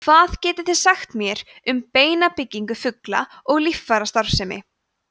hvað getið þið sagt mér um beinabyggingu fugla og líffærastarfsemi